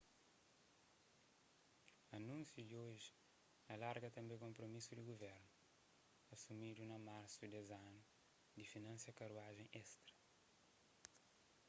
anúnsia di oji alarga tanbê konpromisu di guvernu asumidu na marsu des anu di finansia karuajen estra